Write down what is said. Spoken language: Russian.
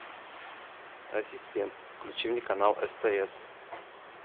ассистент включи мне канал стс